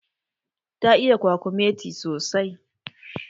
Ta iya kwakumeti sosai